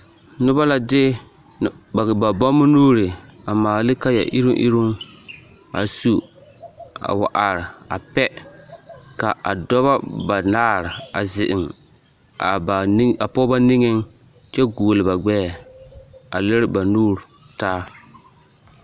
Noba la de ba bammo nuuri a maale ne kaaya iruŋ iruŋ a su a wa are a pɛ ka a dɔbɔ banaare a zeŋ a pɔgebɔ niŋeŋ kyɛ goɔle ba gbɛɛ a lere ba nuuri taa.